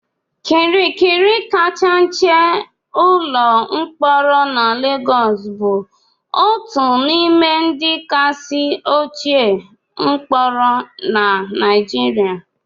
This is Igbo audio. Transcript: Kirikiri kacha nche ụlọ mkpọrọ na Lagos bụ otu n'ime ndị kasị ochie mkpọrọ na Nigeria